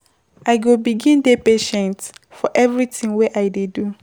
I go begin dey patient for everytin wey I dey do.